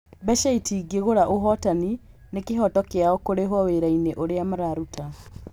Mbeca itingĩgũra ũhotani, nĩ kĩhoto kĩao kũrĩhwo wĩrainĩ ũrĩa mararuta.